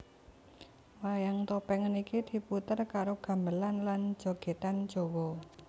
Wayang topeng niki diputer karo gamelan lan jogedan Jawa